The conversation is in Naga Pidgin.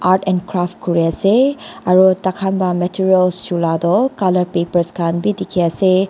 Art and craft kuri ase aro taikhan la materials chula toh colour papers khan bi dekhi ase.